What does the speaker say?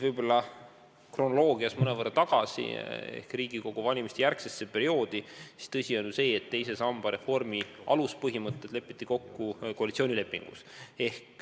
Minnes kronoloogias mõnevõrra tagasi Riigikogu valimiste järgsesse perioodi, siis tuleb öelda, et teise samba reformi aluspõhimõtted lepiti kokku koalitsioonilepingus.